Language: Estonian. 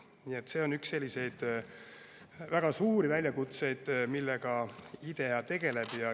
Nii et see on üks väga suuri väljakutseid, millega IDEA tegeleb.